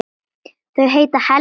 Þau heita Helga og